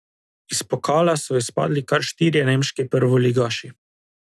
Iz pokala so izpadli kar štirje nemški prvoligaši.